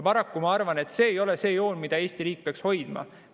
Ma arvan, et see ei ole joon, mida Eesti riik peaks hoidma.